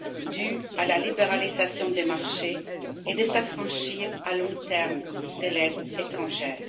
dues à la libéralisation des marchés et de s'affranchir à long terme de l'aide étrangère.